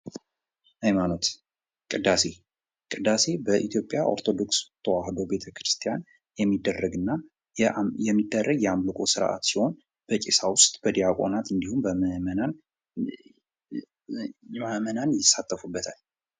ሃይማኖት ቅዳሴ ቅዳሴ በኢትዮጵያ ኦርቶዶክስ ተዋህዶ ቤተክርስቲያን የሚደረግ የአምልኮ ስርአት ሲሆን በቀሳውስት፣ በዲያቆናት እንዲሁም ምእመናን ይሳተፉበታል።